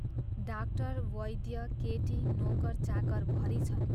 Doctor, वैद्य, केटी, नोकर, चाकर भरी छन्।